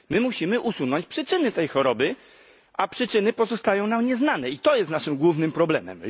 My musimy usunąć przyczyny tej choroby, a przyczyny pozostają nam nieznane i to jest naszym głównym problemem.